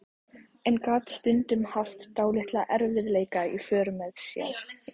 En gat stundum haft dálitla erfiðleika í för með sér.